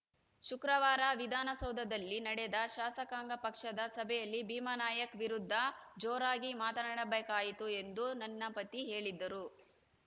ಶುಕ್ರವಾರ ವಿಧಾನಸೌಧದಲ್ಲಿ ನಡೆದ ಶಾಸಕಾಂಗ ಪಕ್ಷದ ಸಭೆಯಲ್ಲಿ ಭೀಮಾನಾಯ್ಕ್ ವಿರುದ್ಧ ಜೋರಾಗಿ ಮಾತನಾಡಬೇಕಾಯಿತು ಎಂದು ನನ್ನ ಪತಿ ಹೇಳಿದ್ದರು